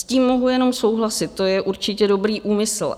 S tím mohu jenom souhlasit, to je určitě dobrý úmysl.